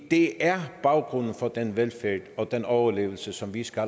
det er baggrunden for den velfærd og den overlevelse som vi skal